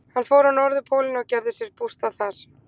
Hann fór á Norðurpólinn og gerði sér bústað þar.